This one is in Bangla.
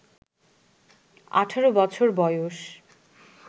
১৮ বছর বয়স